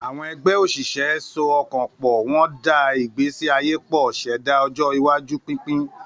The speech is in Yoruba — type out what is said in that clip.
Àwọn ẹgbẹ́ òṣìṣẹ́ so ọkàn pọ̀, wọ́n da ìgbésí ayé pọ̀, ṣẹ̀dá ọjọ́ iwájú pínpín.